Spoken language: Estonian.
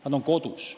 Nad on kodus.